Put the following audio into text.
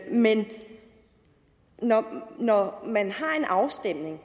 men når man har en afstemning